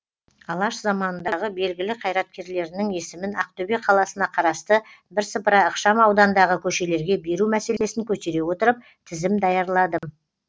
алаш заманындағы белгілі қайраткерлерінің есімін ақтөбе қаласына қарасты бірсыпыра ықшам аудандағы көшелерге беру мәселесін көтере отырып тізім даярладым